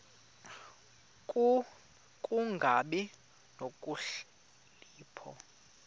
ku kungabi nokhalipho